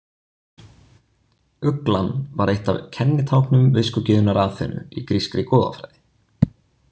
Uglan var eitt af kennitáknum viskugyðjunnar Aþenu í grískri goðafræði.